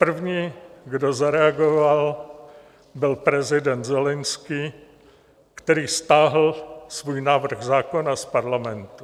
První, kdo zareagoval, byl prezident Zelenskyj, který stáhl svůj návrh zákona z parlamentu.